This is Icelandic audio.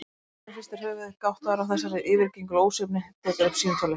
Stórlaxinn hristir höfuðið, gáttaður á þessari yfirgengilegu ósvífni, tekur upp símtólið.